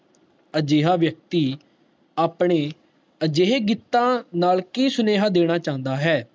ਅਜਿਹਾ ਵਿਅਕਤੀ ਆਪਣੇ ਅਜਿਹੇ ਗੀਤਾ ਨਾਲ ਕਿ ਸਨੇਹਾ ਦੇਣਾ ਚਾਨਦਾ ਹੈ